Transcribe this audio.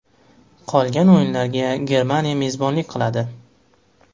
Qolgan o‘yinlarga Germaniya mezbonlik qiladi.